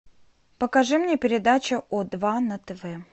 покажи мне передачу о два на тв